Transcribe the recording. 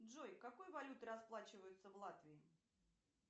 джой какой валютой расплачиваются в латвии